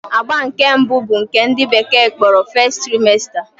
Agba nke mbụ bụ nke ndị bekee kpọrọ 'First Trimester'